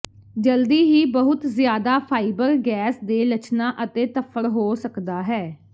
ਜਲਦੀ ਹੀ ਬਹੁਤ ਜ਼ਿਆਦਾ ਫਾਈਬਰ ਗੈਸ ਦੇ ਲੱਛਣਾਂ ਅਤੇ ਧੱਫੜ ਹੋ ਸਕਦਾ ਹੈ